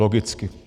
Logicky.